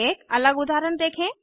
एक अलग उदाहरण देखें